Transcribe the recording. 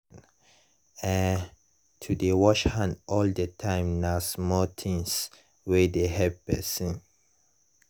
eh to dey wash hand all the time nah small things wey dey help pesin.